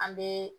An bɛ